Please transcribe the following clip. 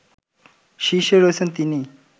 শীর্ষে রয়েছেন তিনি